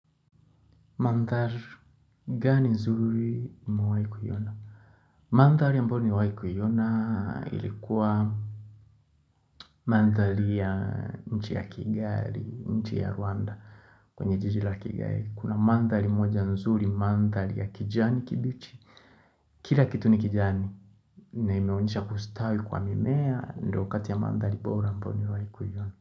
Mandhari gani nzuri umewai kuona? Mandhari ambayonimewai kuiona ilikuwa mandhari ya nchi ya Kigali, nchi ya Rwanda kwenye jiji la Kigali. Kuna mandhari moja nzuri, mandhari ya kijani kibichi. Kila kitu ni kijani. Na imeonisha kustawi kwa mimea, ndio kati ya mandhari bora ambayo nimewai kuona.